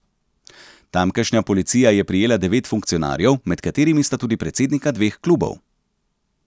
Tamkajšnja policija je prijela devet funkcionarjev, med katerimi sta tudi predsednika dveh klubov.